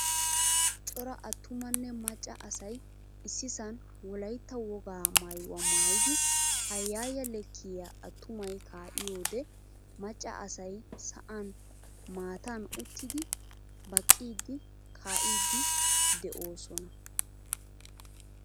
Cora attumanne maccaa asay issisan wolaytta wogaa maayuwaa maayidi hayaya leekiyaa attumay kaiyode macca asay sa'an maattan uttidi baqqidi kaidi deosona.